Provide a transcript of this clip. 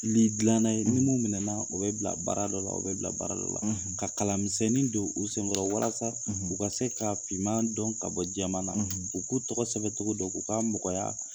Ni dilanna ni mu minɛla o bɛ bila baara dɔ la o bɛ bila baara dɔ la ka kalamisɛnninw don u senkɔrɔ walasa u ka se ka fiman dɔn ka bɔ jɛmana na u k'u tɔgɔ sɛbɛcogo dɔ k'u ka mɔgɔya